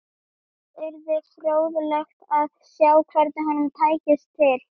Það yrði fróðlegt að sjá hvernig honum tækist til.